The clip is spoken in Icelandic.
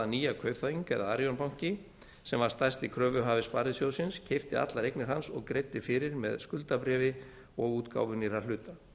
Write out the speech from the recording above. að nýja kaupþing eða arion banki sem var stærsti kröfuhafi sparisjóðsins keypti allar eignir hans og greiddi fyrir með skuldabréfi og útgáfu nýrra hluta